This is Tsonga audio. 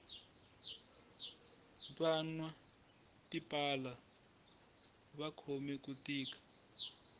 vanwa tipala va khome ku tika